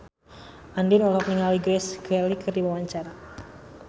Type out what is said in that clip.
Andien olohok ningali Grace Kelly keur diwawancara